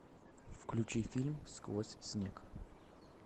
включи фильм сквозь снег